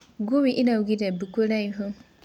ngui ĩraũgĩre mbũũ kũraĩhũ